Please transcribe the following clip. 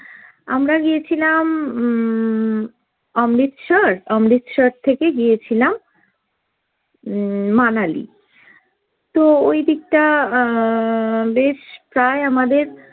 আমরা গিয়েছিলাম উম অমৃতসর, অমৃতসর থেকে গিয়েছিলাম উম মানালি। তো ওইদিকটা আহ বেশ প্রায় আমাদের